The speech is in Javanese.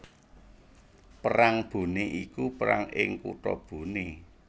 Perang Boné iku perang ing kutha Boné